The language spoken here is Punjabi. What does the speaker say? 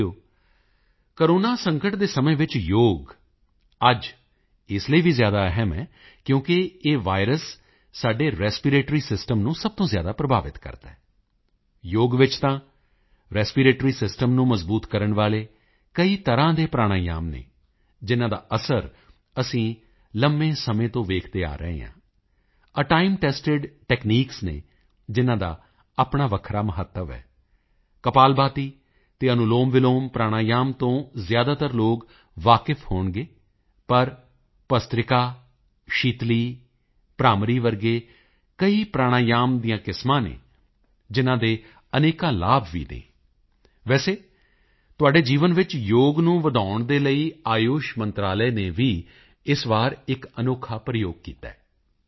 ਸਾਥੀਓ ਕੋਰੋਨਾ ਸੰਕਟ ਦੇ ਸਮੇਂ ਵਿੱਚ ਯੋਗ ਅੱਜ ਇਸ ਲਈ ਵੀ ਜ਼ਿਆਦਾ ਅਹਿਮ ਹੈ ਕਿਉਂਕਿ ਇਹ ਵਾਇਰਸ ਸਾਡੇ ਰੈਸਪੀਰੇਟਰੀ ਸਿਸਟਮ ਨੂੰ ਸਭ ਤੋਂ ਜ਼ਿਆਦਾ ਪ੍ਰਭਾਵਿਤ ਕਰਦਾ ਹੈ ਯੋਗ ਵਿੱਚ ਤਾਂ ਰੈਸਪੀਰੇਟਰੀ ਸਿਸਟਮ ਨੂੰ ਮਜ਼ਬੂਤ ਕਰਨ ਵਾਲੇ ਕਈ ਤਰ੍ਹਾਂ ਦੇ ਪ੍ਰਾਣਾਯਾਮ ਹਨ ਜਿਨ੍ਹਾਂ ਦਾ ਅਸਰ ਅਸੀਂ ਲੰਮੇ ਸਮੇਂ ਤੋਂ ਦੇਖਦੇ ਆ ਰਹੇ ਹਾਂ ਇਹ ਟਾਈਮ ਟੈਸਟਡ ਟੈਕਨੀਕਸ ਹਨ ਜਿਨ੍ਹਾਂ ਦਾ ਆਪਣਾ ਵੱਖਰਾ ਮਹੱਤਵ ਹੈ ਕਪਾਲਭਾਤੀ ਅਤੇ ਅਨੁਲੋਮਵਿਲੋਮ ਪ੍ਰਾਣਾਯਾਮ ਤੋਂ ਜ਼ਿਆਦਾਤਰ ਲੋਕ ਵਾਕਫ਼ ਹੋਣਗੇ ਪਰ ਭਸਤ੍ਰਿਕਾ ਸ਼ੀਤਲੀ ਭ੍ਰਾਮਰੀ ਵਰਗੇ ਕਈ ਪ੍ਰਾਣਾਯਾਮ ਦੀਆਂ ਕਿਸਮਾਂ ਹਨ ਜਿਨ੍ਹਾਂ ਦੇ ਅਨੇਕਾਂ ਲਾਭ ਵੀ ਹਨ ਵੈਸੇ ਤੁਹਾਡੇ ਜੀਵਨ ਵਿੱਚ ਯੋਗ ਨੂੰ ਵਧਾਉਣ ਲਈ ਆਯੁਸ਼ ਮੰਤਰਾਲੇ ਨੇ ਵੀ ਇਸ ਵਾਰ ਇੱਕ ਅਨੋਖਾ ਪ੍ਰਯੋਗ ਕੀਤਾ ਹੈ